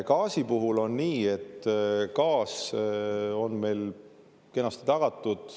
Gaasi puhul on nii, et gaas on meil kenasti tagatud.